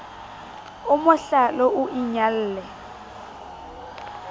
o mo hlale o inyalle